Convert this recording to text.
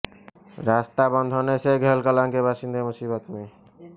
रास्ता बंद होने से घेलकलां के बाशिंदे मुसीबत में